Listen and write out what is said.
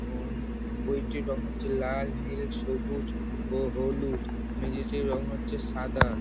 ও ঊম বইটির রং হচ্ছে লাল নীল সবুজ ও হলুদ। মেঝোটির রং হচ্ছে সাদা।